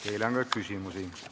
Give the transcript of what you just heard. Teile on küsimusi.